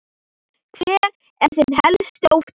Hver er þinn helsti ótti?